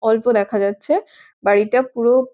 অল্প দেখা যাচ্ছে বাড়িটা পুরো --